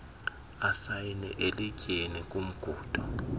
asayine elityeni kumngundo